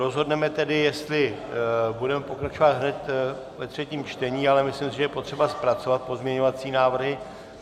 Rozhodneme tedy, jestli budeme pokračovat hned ve třetím čtení, ale myslím si, že je potřeba zpracovat pozměňovací návrhy.